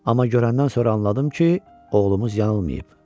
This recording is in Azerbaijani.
Amma görəndən sonra anladım ki, oğlumuz yanılmayıb.